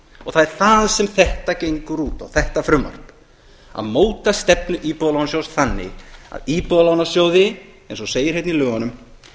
og það er það sem þetta frumvarp gengur út á að móta stefnu íbúðalánasjóð þannig að íbúðalánasjóði eins og segir hérna í lögunum